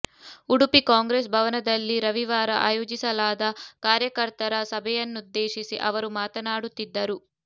ಉಡುಪಿ ಕಾಂಗ್ರೆಸ್ ಭವನದಲ್ಲಿ ರವಿವಾರ ಆಯೋಜಿಸಲಾದ ಕಾರ್ಯ ಕರ್ತರ ಸಭೆಯನ್ನುದ್ದೇಶಿಸಿ ಅವರು ಮಾತನಾಡುತ್ತಿದ್ದರು